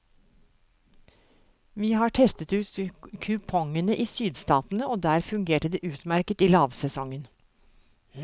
Vi har testet ut kupongene i sydstatene og der fungerte det utmerket i lavsesongen.